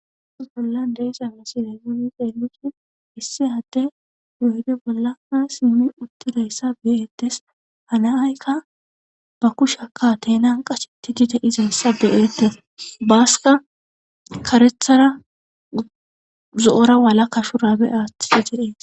Hayssappe bollan deysa asilaygooni xeelrshin issi hadde yoyde bollaa simmi uttidayssa beyetes hanaaykka ba kushaka tenan qashi ti dide izen sa be7ete baasika karethara zo7ora wala ka shu raabe aathti si xedees